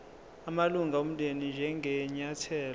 amalunga omndeni njengenyathelo